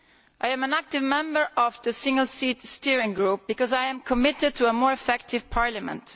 I am an active member of the Single Seat Steering Group because I am committed to a more effective Parliament.